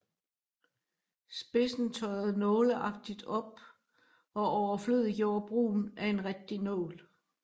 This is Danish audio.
Spidsen tørrede nåleagtigt op og overflødiggjorde brugen af en rigtig nål